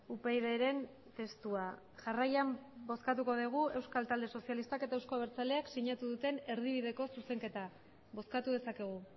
upydren testua jarraian bozkatuko dugu euskal talde sozialistak eta euzko abertzaleak sinatu duten erdibideko zuzenketa bozkatu dezakegu